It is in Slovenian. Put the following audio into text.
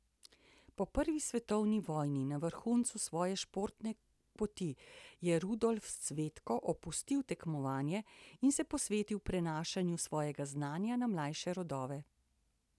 Po prvi svetovni vojni, na vrhuncu svoje športne poti, je Rudolf Cvetko opustil tekmovanje in se posvetil prenašanju svojega znanja na mlajše rodove.